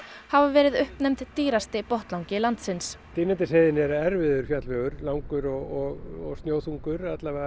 hafa verið uppnefnd dýrasti botnlangi landsins Dynjandisheiðin er erfiður fjallvegur langur og snjóþungur